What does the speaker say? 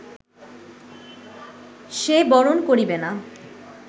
সে বরণ করিবে না